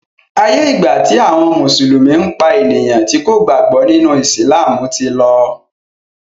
aiyé igba ti àwọn mùsùlùmí pá ènìyàn tí kò gbàgbó nínú! Ìsìlámù tí ló.